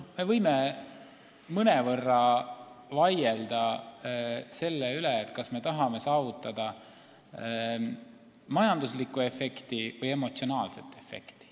Me võime mõnevõrra vaielda selle üle, kas me tahame saavutada majanduslikku või emotsionaalset efekti.